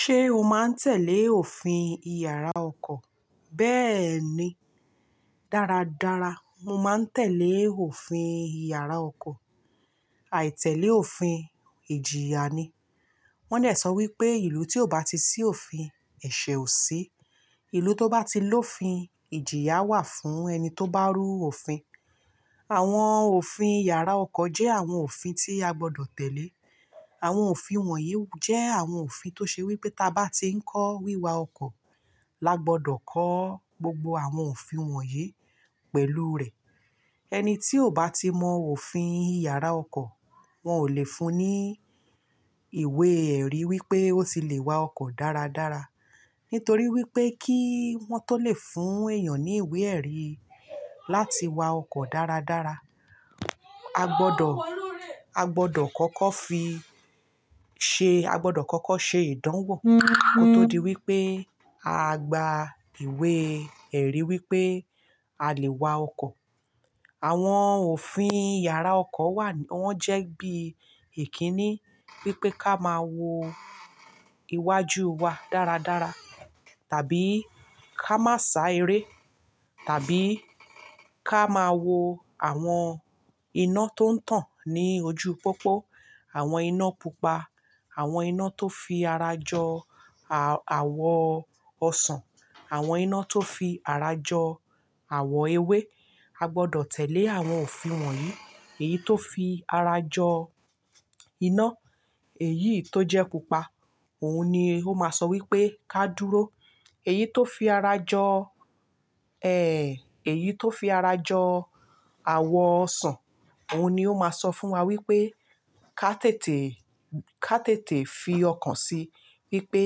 Ṣé o máa ń tẹ̀lé òfin ìyàrá ọkọ̀? Bẹ́ẹ̀ ni. Dára dára, mo máa ń tẹ̀lé òfin ìyàrá ọkọ̀. Àìtẹ̀lé òfin, ìjìyà ni. Wọ́n de sọ wí pé ìlú tí ò bá ti sí òfin, ẹ̀ṣẹ̀ ò sí. Ìlú tó bá ti lófin, ìjìyà wà fún ẹni tó bá rú òfin. Àwọn òfin iyàrá ọkọ̀ jẹ́ àwọn òfin tí a gbọdọ̀ tẹ̀lé. Àwọn òfin wọ̀nyí jẹ́ àwọn òfin tó ṣe wí pé táa bá ti ń kọ́ wíwa ọkọ̀, la gbọdọ̀ kọ́ gbogbo àwọn òfin wọ̀nyí pẹ̀lú rẹ̀. Ẹni tí ò bá ti mọ òfin ìyàrá ọkọ̀, wọn ò lè fún ní ìwé-ẹ̀rí wí pé ó ti lè wa ọkọ̀ dáradára. Nítorí wí pé kí wọn tó lè fún èèyàn ní ìwé-ẹ̀rí láti wa ọkọ̀ dáradára, a gbọdọ̀ kọ́kọ́ fi ṣe, a gbọdọ̀ kọ́kọ́ ṣe ìdánwò kó tó di wí pé a gba ìwé-ẹ̀rí wí pé a lè wa ọkọ̀. Àwọn òfin ìyàrá ọkọ̀ wà, wọ́n jẹ́ bí èkínní wí pé ká máa wo iwájú wa dáradára, tàbí ká má sá eré, tàbí ká máa wo àwọn iná tó ń tàn ní ojú pópó, àwọn iná pupa, àwọn iná tó fi ara jọ àwọ ọsàn, àwọn iná tó fi ara jọ àwọ ewé. A gbọdọ̀ tẹ̀lé àwọn òfin wọ̀nyí. Èyí tó fi ara jọ iná, èyí tó jẹ́ pupa, òun ni ó máa sọ wí pé ká dúró. Èyí tó fi ara jọ, èyí tó fi ara jọ àwọ ọsàn, òun ni ó máa sọ fún wa wí pé ká tètè, ká tètè fi ọkan sí wí pé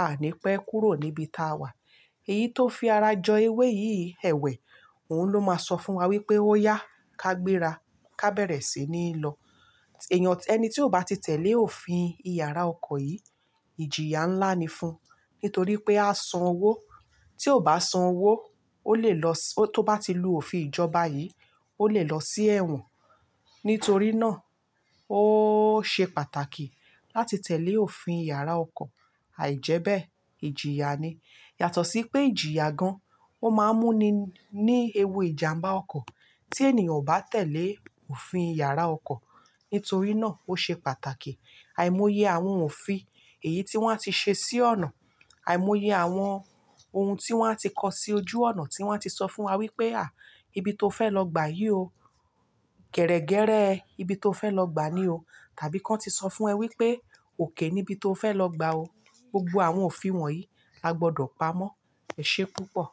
aa ní pẹ́ kúrò níbi táa wà. Èyí tó fi ara jọ ewé yìí ẹwẹ̀, òun ló máa sọ fún wa wí pé ó yá, ká gbéra, ká bẹ̀rẹ̀ sí ní lọ. Èèyàn, ẹni tí ò bá ti tẹ̀lé òfin ìyàrá ọkọ̀ yìí, ìjìyà ńlá ni fún un. Nítorí pé a san owó, tí ó bá san owó, ó lè lọ, tó bá ti lu òfin ìjọba yìí, ó lè lọ sí ẹ̀wọ̀n. Nítorí náà ó ṣe pàtàkì láti tẹ̀lé òfin yàrá ọkọ̀. Àìjẹ́bẹ́, ìjìyà ni. Yàtọ̀ sí pé ìjìyà gan, ó máa n mú ni ní ewu ìjàmbá ọkọ̀ tí ènìyàn ò bá tẹ̀lé òfin yàrá ọkọ̀. Nítorí náà ó ṣe pàtàkì àìmoyé àwọn òfin èyí tí wọ́n ti ṣe sí ọ̀nà, àìmoyé àwọn ohun tí wọ́n a ti kọ sí ojú ọ̀nà tí wọ́n a ti sọ fún wa wí pé, "À, ibi tó fẹ́ lọ gbà yìí o. Gẹrẹgẹrẹ ibi tó fẹ́ lọ gbà ni o." Tàbí kí wọ́n ti sọ fún ẹ wí pé òkè níbi tó fẹ́ lọ gbà o. Gbogbo àwọn òfin wọ̀nyí a gbọdọ̀ pamọ́. Ẹ̀ṣé púpọ̀